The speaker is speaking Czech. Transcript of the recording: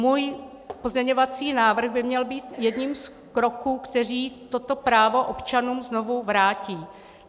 Můj pozměňovací návrh by měl být jedním z kroků, které toto právo občanům znovu vrátí.